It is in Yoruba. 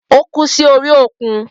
Ó kú sí orí òkun.